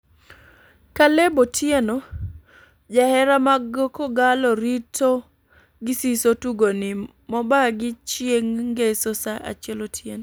Caleb otieno. Johera mag Kogallo rito gi siso tugoni mobagi chieng ngeso saa achiel otieno.